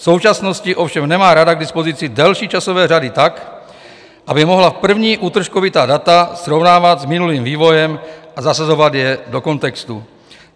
V současnosti ovšem nemá Rada k dispozici delší časové řady tak, aby mohla první útržkovitá data srovnávat s minulým vývojem a zasazovat je do kontextu.